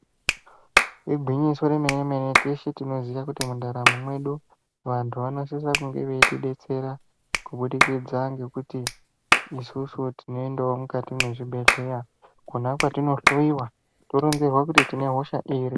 Igwinyiso remene mene teshe tinoziya kuti mundaramo mwedu vantu vanosisa kunge veitidetsera kubudikidza ngekuti isisu tinoendawo mukati mwezvibhedhleya kona kwatinohloyiwa toronzerwa kuti tine hosha iri.